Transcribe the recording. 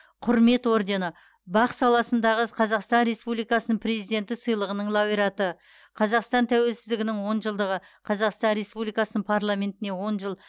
құрмет ордені бақ саласындағы қазақстан республикасының президенті сыйлығының лауреаты қазақстан тәуелсіздігінің он жылдығы қазақстан республикасының парламентіне он жыл